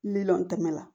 Miliyɔn dama la